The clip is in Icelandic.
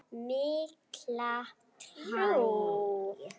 Mikla trú.